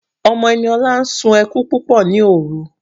Ọmọ Eniola sún ẹkún púpọ̀ ní òrun.